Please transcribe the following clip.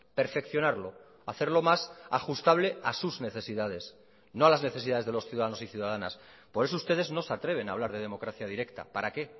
perfeccionarlo hacerlo más ajustable a sus necesidades no a las necesidades de los ciudadanos y ciudadanas por eso ustedes no se atreven a hablar de democracia directa para qué